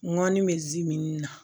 Ŋɔni bɛ zimini na